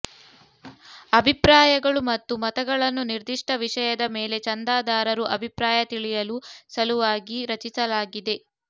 ಅಭಿಪ್ರಾಯಗಳು ಮತ್ತು ಮತಗಳನ್ನು ನಿರ್ದಿಷ್ಟ ವಿಷಯದ ಮೇಲೆ ಚಂದಾದಾರರು ಅಭಿಪ್ರಾಯ ತಿಳಿಯಲು ಸಲುವಾಗಿ ರಚಿಸಲಾಗಿದೆ